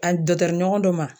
A ɲɔgɔn dɔ ma.